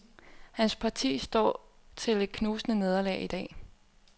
Hans parti står til et knusende nederlag i dag.